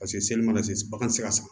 Paseke seli mana se bagan ti se ka san